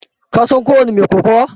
Ka san ko wani mai kokawa?